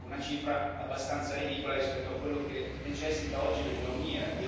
Ecco, una cifra abbastanza ridicola rispetto a quello di cui necessita oggi l'economia.